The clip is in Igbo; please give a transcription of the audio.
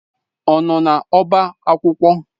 Ọ nọ n'ọba akwụkwọ?